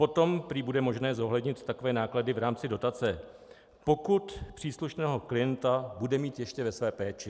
Potom prý bude možné zohlednit takové náklady v rámci dotace, pokud příslušného klienta bude mít ještě ve své péči.